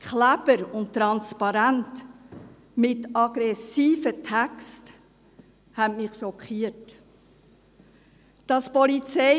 Kleber und Transparente mit aggressiven Texten schockierten mich.